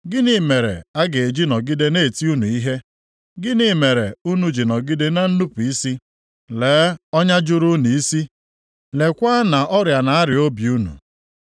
Gịnị mere a ga-eji nọgide na-eti unu ihe? Gịnị mere unu ji nọgide na nnupu isi? Lee ọnya juru unu isi, leekwa na ọrịa na-arịa obi unu.